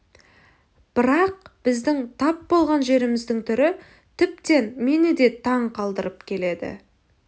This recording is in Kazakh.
бірақ біздің тап болған жеріміздің түрі тіптен мені де таң қалдырып келеді